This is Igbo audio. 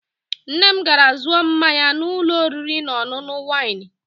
Nne m gara zụọ mmanya na ụlọ oriri na ọṅụṅụ waịnị.